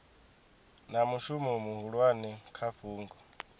na mushumo muhulwane kha fhungo